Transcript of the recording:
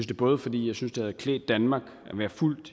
det både fordi jeg synes det havde klædt danmark at være fuldt